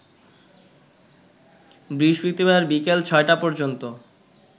বৃহস্পতিবার বিকেল ৬টা পর্যন্ত